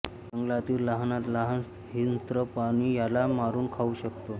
जंगलातील लहानात लहान हिंस्त्र प्राणी याला मारून खाऊ शकतो